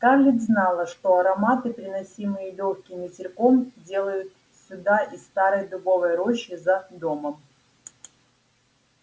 скарлетт знала что ароматы приносимые лёгким ветерком долетают сюда из старой дубовой рощи за домом